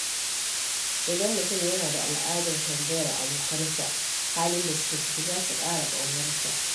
Idan mutum yana da al’adar tambayar abokansa halin da suke ciki, za su ƙara ƙaunarsa.